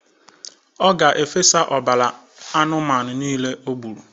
Ọ ga-efe ọbara anụmanụ nile ogburu.